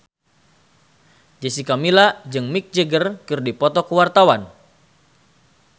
Jessica Milla jeung Mick Jagger keur dipoto ku wartawan